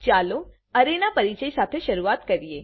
ચાલો અરે ના પરીચય સાથે શરૂઆત કરીએ